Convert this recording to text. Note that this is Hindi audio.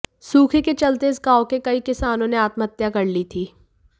सूखे के चलते इस गांव के कई किसानों ने आत्महत्या कर ली थी